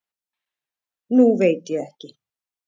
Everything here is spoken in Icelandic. Nú veit ég ekki.